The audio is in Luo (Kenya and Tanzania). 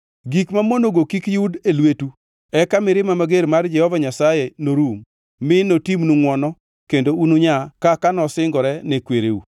Gik mamonogo kik yud e lwetu eka mirima mager mar Jehova Nyasaye norum, mi notimnu ngʼwono kendo ununyaa kaka nosingore ne kwereu.